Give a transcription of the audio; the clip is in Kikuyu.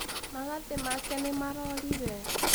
Magathĩ make nĩ marorire.